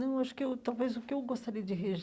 Não, eu acho que eu talvez o que eu gostaria de